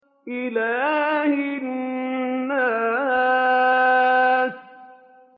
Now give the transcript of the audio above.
إِلَٰهِ النَّاسِ